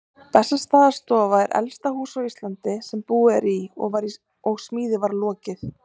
Bessastaðastofa er elsta hús á Íslandi sem búið er í og var smíði lokið